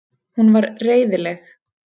Hún var reiðileg.